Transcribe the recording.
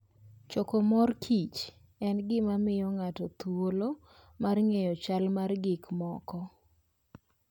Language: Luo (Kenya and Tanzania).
Choko mor kich en gima miyo ng'ato thuolo mar ng'eyo chal mar gik moko.